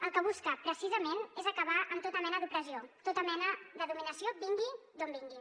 el que busca precisament és acabar amb tota mena d’opressió tota mena de dominació vingui d’on vingui